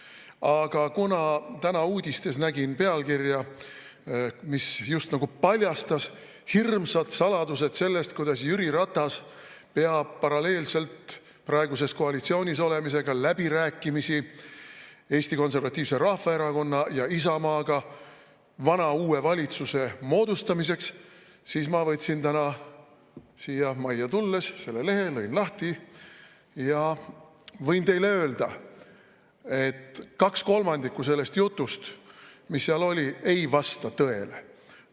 Aga kuna ma täna uudistes nägin pealkirja, mis just nagu paljastas hirmsad saladused sellest, kuidas Jüri Ratas peab paralleelselt praeguses koalitsioonis olemisega läbirääkimisi Eesti Konservatiivse Rahvaerakonna ja Isamaaga vana-uue valitsuse moodustamiseks, siis ma võtsin täna siia majja tulles selle lehe, lõin lahti ja võin teile öelda, et kaks kolmandikku sellest jutust, mis seal oli, ei vasta tõele.